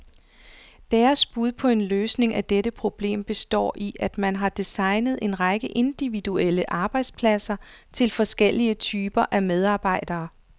Deres bud på en løsning af dette problem består i, at man har designet en række individuelle arbejdspladser til forskellige typer af medarbejdere.